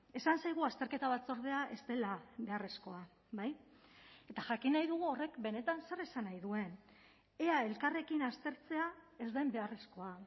esan zaigu azterketa batzordea ez dela beharrezkoa bai eta jakin nahi dugu horrek benetan zer esan nahi duen ea elkarrekin aztertzea ez den beharrezkoa